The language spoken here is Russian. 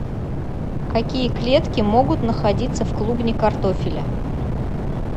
какие клетки могут находиться в клубне картофеля